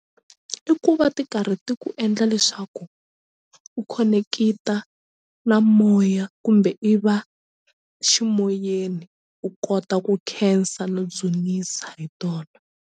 I ku va ti karhi ti ku endla leswaku u khoneketa na moya kumbe i va ximoyeni u kota ku khensa no dzunisa hi tona.